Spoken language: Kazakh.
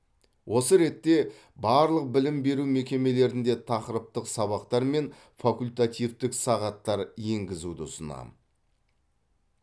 осы ретте барлық білім беру мекемелерінде тақырыптық сабақтар мен факультативтік сағаттар енгізуді ұсынамын